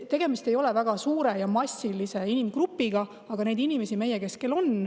Tegemist ei ole väga suure inimgrupiga, aga neid inimesi meie keskel on.